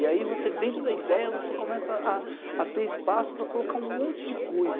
E aí você, dentro da ideia, você começa a ter espaço para colocar um monte de coisa.